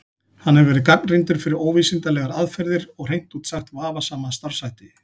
Hann hefur verið gagnrýndur fyrir óvísindalegar aðferðir og hreint út sagt vafasama starfshætti.